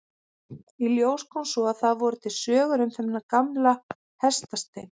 Í ljós kom svo að það voru til sögur um þennan gamla hestastein.